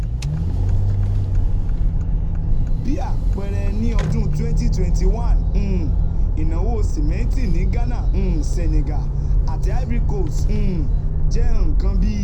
Bí àpẹẹrẹ, ní ọdún twenty twenty one, um ìnáwó simẹnti ní Ghana, Senegal, àti Ivory Coast um jẹ́ nǹkan bí